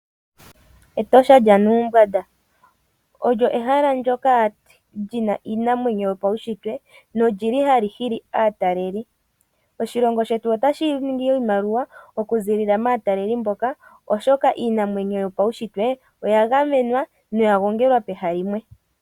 Etosha lya Nuumbwanda olyo ehala ndoka lyina iinamwenyo yopaushitwe nolyili hali hili aataleli. Oshilongo shetu otashi ningi iimaliwa okuziilila maataleli mboka, oshoka iinamwenyo yopaushitwe oya gamenwa noya gongelwa pehala limwe.